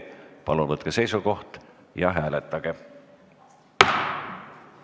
Palun võtke seisukoht ja hääletage!